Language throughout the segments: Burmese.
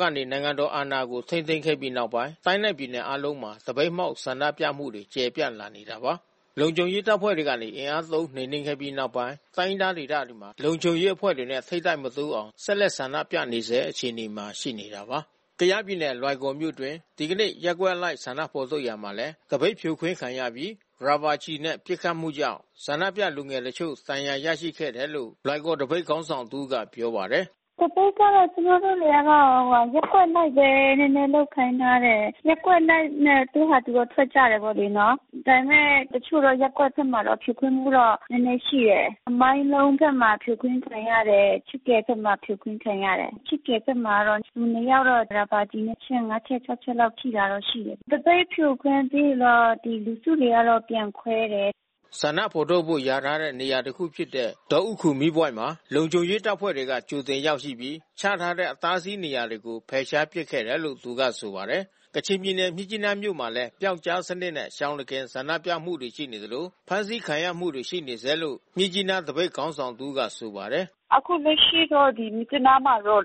ကနေ နိုင်ငံတော်အာဏာကို ထိန်းသိမ်းခဲ့ပြီးနောက်ပိုင်း တိုင်းနဲ့ ပြည်နယ်အားလုံးမှာ သပိတ်မှောက် ဆန္ဒပြမှုတွေ ကျယ်ပြန့်လာနေတာပါ။ လုံခြုံရေးတပ်ဖွဲ့တွေကနေ အင်အားသုံးနှိမ်နင်းခဲ့ပြီးနောက်ပိုင်း တိုင်းရင်းသားဒေသတွေမှာ လုံခြုံရေးအဖွဲ့တွေနဲ့ ထိပ်တိုက်မတိုးအောင် ဆက်လက်ဆန္ဒပြနေဆဲအခြေအနေမှာ ရှိနေတာပါ။ ကယားပြည်နယ် လွိုင်ကော်မြို့အတွင်း ဒီကနေ့ ရပ်ကွက်အလိုက်ဆန္ဒဖော်ထုတ်ရာမှာလည်း သပိတ်ဖြိုခွင်းခံရပြီး ရာဘာကျည်နဲ့ ပစ်ခတ်မှုကြောင့် ဆန္ဒပြလူငယ်တချို့ ဒဏ်ရာရရှိခဲ့တယ်လို့ လွိုင်ကော်သပိတ်ခေါင်းဆောင် တဦးက ပြောပါတယ်။ “သပိတ်ကတော့ ကျမတို့တတွေကတော့ ရပ်ကွက်အလိုက်ပဲ နည်းနည်းလုပ်ခိုင်းထားတယ်။ ရပ်ကွက်အလိုက်ပဲ သူ့ဟာသူထွက်ကြတယ်လေနော်။ ဒါပေမဲ့ တချို့သောရပ်ကွက်ထဲမှာတော့ ဖြိုခွင်းမှုတော့ နည်းနည်းရှိတယ်။ မိုင်းလုံးဘက်မှာ ဖြိုခွင်းခံရတယ်။ ခြစ်ကယ်ဘက်မှာ ဖြိုခွင်းခံရတယ်။ ခြစ်ကယ်ဘက်မှာတော့ လူနှစ်ယောက်တော့ ရာဘာကျည် အချက် ၅ ချက်၊ ၆ ချက်လောက် ထိတာတော့ရှိတယ်။ သပိတ်ဖြိုခွင်းပြီးရင်တော့ လူစုတွေက ပြန်ခွဲတယ်။" ဆန္ဒဖော်ထုတ်ဖို့ လျာထားတဲ့နေရာဖြစ်တဲ့ ဒေါဥခူမီးပွိုင့်မှာ လုံခြုံရေးတပ်ဖွဲ့က ကြိုတင်ရောက်ရှိပြီး ချထားတဲ့ အတားအဆီးနေရာတွေကို ဖယ်ရှားပစ်ခဲ့တယ်လို့ သူကဆိုပါတယ်။ ကချင်ပြည်နယ်မြစ်ကြီးနားမြို့မှာလည်း ပျောက်ကြားစနစ်နဲ့ ရှောင်တခင်ဆန္ဒပြမှုတွေ ရှိနေသလို ဖမ်းဆီးခံရမှုတွေ ရှိနေဆဲလို့ မြစ်ကြီးနားသပိတ်ခေါင်းဆောင်တဦးက ဆိုပါတယ်။ “အခုလက်ရှိတော့ မြစ်ကြီးနားမှာတော့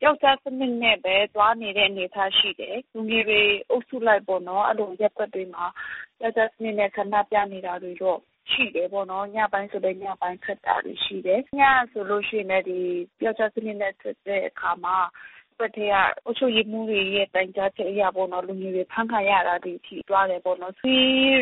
ပျောက်ကြားစနစ်နဲ့ပဲ သွားနေတဲ့အနေအထား ရှိတယ်။ လူငယ်တွေအုပ်စုလိုက်ပေါ့နော်... အဲဒီလိုရပ်ကွက်တွေမှာ ပျောက်ကြားစနစ်နဲ့ ဆန္ဒပြနေတာတော့ရှိတာပေါ့နော်။ ညပိုင်းဆိုလည်း ညပိုင်းထွက်တာ ရှိတယ်။ ညကဆိုလို့ရှိရင်လည်း ပျောက်ကြားစနစ်နဲ့ ထွက်တဲ့အခါမှာ ရပ်ကွက်ထဲက အုပ်ချုပ်ရေးမှူးတွေရဲ့ တိုင်ကြားချက်အရပေါ့။ လူငယ်တွေ အဖမ်းခံရတာတွေ ရှိကြတာပေါ့နော်။ ဒီ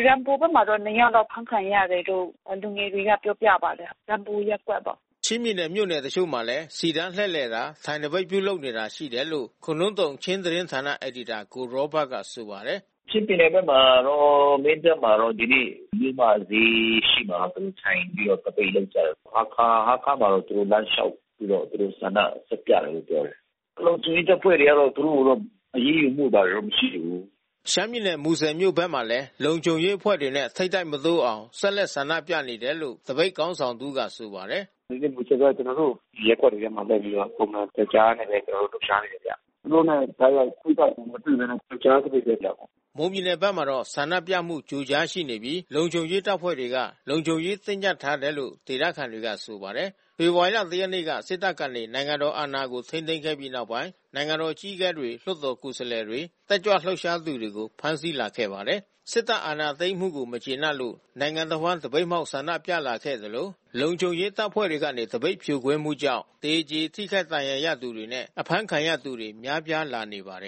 ရမ်ဘူဘက်မှာ နှစ်ယောက်တော့ အဖမ်းခံရတယ်လို့ လူငယ်တွေက ပြောပြပါတယ်။ ရမ်ဘူရပ်ကွက်ပေါ့။ ချင်းပြည်နယ်မြို့နယ်တချို့မှာလည်း စီတန်းလှည့်လည်တာ ထိုင်သပိတ်ပြုလုပ်နေတာ ရှိတယ်လို့ ခိုနှုမ်းသုန်ချင်းသတင်းဌာန အယ်ဒီတာ ကိုရောဘတ်ကဆိုပါတယ်။ “ချင်းပြည်နယ်ဘက်မှာတော့ မင်းတပ်မှာတော့ ဒီနေ့ မြို့မဈေးရှေ့မှာတော့ သူတို့ထိုင်ပြီးတော့ သပိတ်လုပ်ကြတယ်။ ဟားခါးမှာတော့ သူတို့ လမ်းလျှောက်ပြီးတော့ သူတို့ဆန္ဒထုတ်ပြတယ်လို့ ပြောတယ်။ လုံခြုံရေးတပ်ဖွဲ့တွေတော့ သူတို့ကိုတော့ အရေးယူမှုတွေ မရှိဘူး။” ရှမ်းပြည်နယ်၊ မူဆယ်မြို့ဘက်မှာလည်း လုံခြုံရေးအဖွဲ့တွေနဲ့ ထိပ်တိုက်မတိုးအောင် ဆက်လက်ဆန္ဒပြနေတယ်လို့ သပိတ်ခေါင်းဆောင်တဦးကဆိုပါတယ်။ “ဒီနေ့မူဆယ်ဘက် ကျနော်တို့ ရပ်ကွက်တွေထဲမှာ လုပ်ပြီးတော့ ပုံမှန်ပျောက်ကြားနဲပဲ ကျနော်တို့ လှုပ်ရှားနေတယ်ဗျ။ သူတို့နဲ့ တိုက်ရိုက် ထိပ်တိုက်မတွေ့ဘဲနဲ့ ပျောက်ကြားသပိတ်ပဲ လုပ်တယ်။” မွန်ပြည်နယ်ဘက်မှာတော့ ဆန္ဒပြမှု ကြိုကြားရှိနေပြီး လုံခြုံရေးတပ်ဖွဲ့တွေက လုံခြုံရေးတင်းကြပ်ထားတယ်လို့ ဒေသခံတွေကဆိုပါတယ်။ ဖေဖော်ဝါရီ ၁ ရက်နေ့က စစ်တပ်ကနေ နိုင်ငံတော်အာဏာကို ထိန်းသိမ်းခဲ့ပြီးနောက်ပိုင်း နိုင်ငံတော်အကြီးအကဲတွေ၊ လွှတ်တော်ကိုယ်စားလှယ်တွေ တက်ကြွလှုပ်ရှားသူတွေကို ဖမ်းဆီးလာခဲ့ပါတယ်။ စစ်တပ်အာဏာသိမ်းမှုကို မကျေနပ်လို့ နိုင်ငံတဝှမ်း သပိတ်မှောက်ဆန္ဒပြလာခဲ့သလို လုံခြုံရေးတပ်ဖွဲ့တွေကနေ သပိတ်ဖြိုခွင်းမှုကြောင့် သေကြေထိခိုက်ဒဏ်ရာရသူတွေနဲ့ အဖမ်းဆီးခံရသူတွေ များပြားလာနေပါတယ်